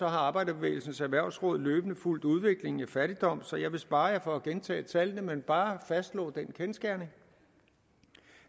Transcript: har arbejderbevægelsens erhvervsråd løbende fulgt udviklingen i fattigdom så jeg vil spare jer for at gentage tallene men bare fastslå den kendsgerning